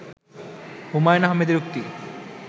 হুমায়ূন আহমেদের উক্তি